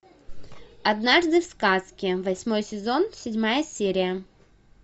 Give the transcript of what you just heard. однажды в сказке восьмой сезон седьмая серия